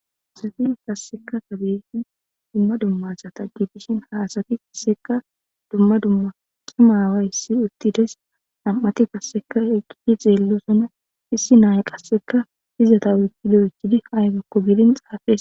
Haysafi kasseka tabeshin dumma dummasa taggitishin haasati seka dumma dumma qimaawayssi uttides nam7ati gasseka eqqii xeellosona issi nay qasseka izata uykidoychidi aygakko biidin xaafes.